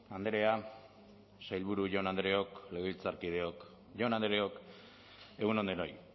andrea sailburu jaun andreok legebiltzarkideok jaun andreok egun on denoi